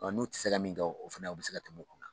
N'u tɛ se ka min kɛ o fana u bɛ se ka tɛmɛ